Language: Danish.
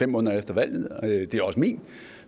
måneder efter valget det er også min